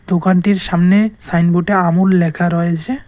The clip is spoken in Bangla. দোকানটির সামনে সাইনবোর্ডে আমুল লেখা রয়েছে।